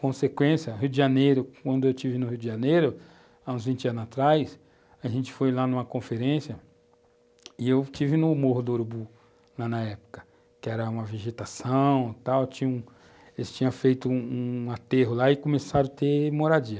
Consequência, Rio de Janeiro, quando eu estive no Rio de Janeiro, há uns vinte anos atrás, a gente foi lá numa conferência e eu estive no Morro do Urubu, lá na época, que era uma vegetação e tal, eles tinham feito um um aterro lá e começaram a ter moradia.